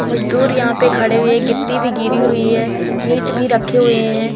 मजदूर यहां पे खड़े हुए गिट्टी भी गिरी हुई है ईट भी रखे हुए हैं।